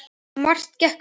Og margt gekk á.